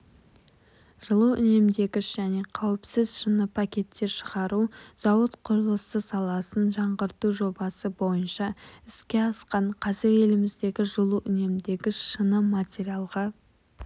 жылу үнемдегіш және қауіпсіз шыны пакеттер шығару зауыт құрылысы саласын жаңғырту жобасы бойынша іске асқан қазір еліміздегі жылу үнемдегіш шыны материалға